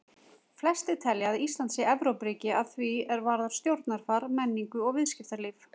Flestir telja að Ísland sé Evrópuríki að því er varðar stjórnarfar, menningu og viðskiptalíf.